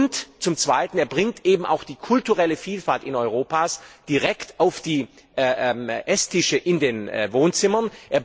Und zum Zweiten Er bringt eben auch die kulturelle Vielfalt in Europa direkt auf die Esstische in den Wohnzimmern.